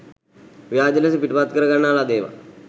ව්‍යාජ ලෙස පිටපත් කරගන්නා ලද ඒවා